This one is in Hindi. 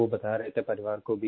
वो बता रहे थे परिवार को भी